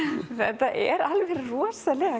þetta er alveg rosalega